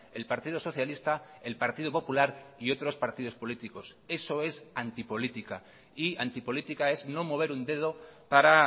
el partido socialista el partido popular y otros partidos políticos eso es antipolítica y antipolítica es no mover un dedo para